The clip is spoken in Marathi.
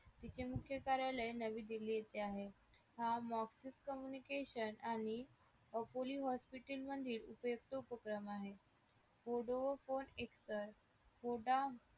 याचे मुख्य कार्यालय नवी दिल्ली येथे आहे हा office communication आणि अकोली hospital म्हणजे उपयुक्त उपक्रम आहे vodafone external voda